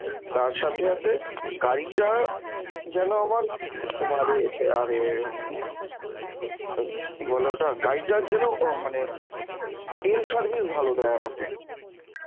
তার সাথে সাথে গাড়িটা যেন আমার, তোমার এ, আরে উম কি বলে ওটা গাড়িটার যেন ও মানে তেল service ভালো দেয় আমাকে